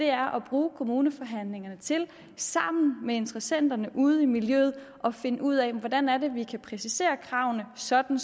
er at bruge kommuneforhandlingerne til sammen med interessenterne ude i miljøet at finde ud af hvordan det er vi kan præcisere kravene sådan